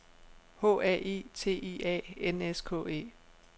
H A I T I A N S K E